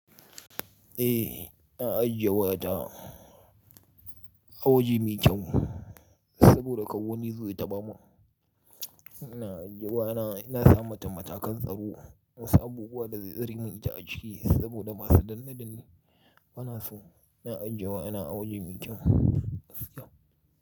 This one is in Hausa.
Eh, na ajiye wayata a wajen mikyan saboda kawoni zai taɓa mu. Na ajiye wayana, na sa mata matakan tsaro, na sa buguwa da zai tsare min ta a ciki saboda ba su danne da ni. Bana so, na ajiye wayana a wajen mikyan.